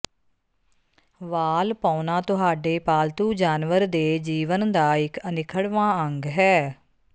ਵਾਲ ਪਾਉਣਾ ਤੁਹਾਡੇ ਪਾਲਤੂ ਜਾਨਵਰ ਦੇ ਜੀਵਨ ਦਾ ਇਕ ਅਨਿੱਖੜਵਾਂ ਅੰਗ ਹੈ